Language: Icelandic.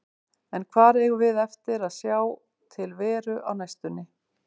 En hvar eigum við eftir að sjá til Veru á næstunni?